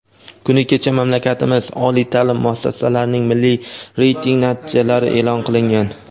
Kuni kecha mamlakatimiz oliy taʼlim muassasalarining milliy reyting natijalari eʼlon qilingan.